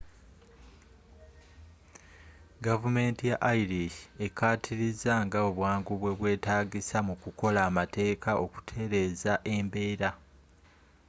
gavumenti ya irish ekkaatiriza nga obwangu bwe bwetaagisa mu kukola amateeka okutereza embeera